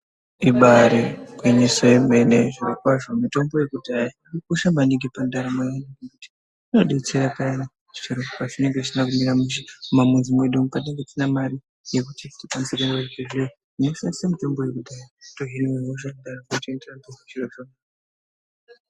Ibaari gwinyiso yemene mitombo yekudhaya yakakosha maningi pandaramo yedu ngokuti inodetsera payani zviro pazvinenge zvisina kumira mushe mumamwizi mwedu umu, vantu vasina mare yekuti aende kuchibhedhlera. Moshandisa mutombo yedu, wotohine hosha, zviro zvoite zvakanaka.